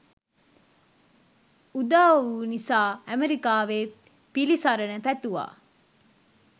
උදාවූ නිසා ඇමරිකාවේ පිලිසරණ පැතුවා.